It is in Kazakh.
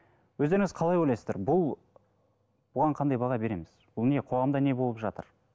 өздеріңіз қалай ойлайсыздар бұл бұған қандай баға береміз бұл не қоғамда не болып жатыр